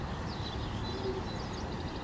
murobi